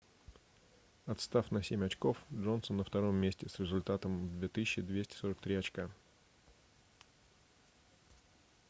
отстав на семь очков джонсон на втором месте с результатом в 2243 очка